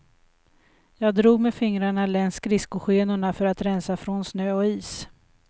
Jag drog med fingrarna längs skridskoskenorna för att rensa från snö och is.